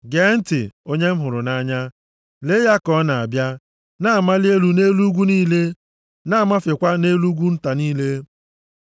Gee ntị! Onye m hụrụ nʼanya! Lee ya ka ọ na-abịa, na-amali elu nʼelu ugwu niile, na-amafekwa nʼelu ugwu nta niile.